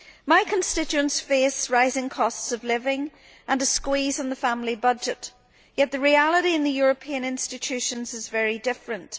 My constituents face rising costs of living and a squeeze on the family budget, yet the reality in the European institutions is very different.